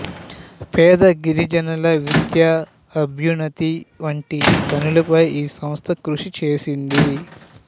పేద గిరిజనుల విద్య అభ్యున్నతి వంటి పనులపై ఈ సంస్థ కృషి చేసింది